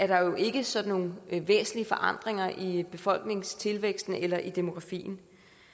der jo ikke sådan nogle væsentlige forandringer i befolkningstilvæksten eller i demografien